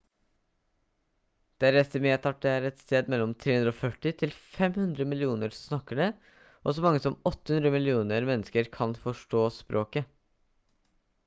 det er estimert at det er et sted mellom 340 til 500 millioner som snakker det og så mange som 800 millioner mennesker kan forstå språket